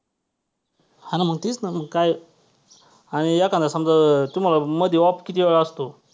हां ना मग तेच ना मग काय आणि एखांदा समजा तुम्हाला मध्ये off कितीवेळा असतो.